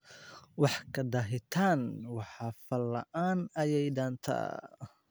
Wax ka daahitaan wax fal la'aan, ayeey dantaa.